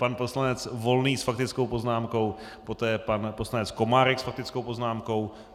Pan poslanec Volný s faktickou poznámkou, poté pan poslanec Komárek s faktickou poznámkou.